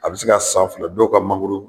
A bɛ se ka san fila dɔw ka mangoro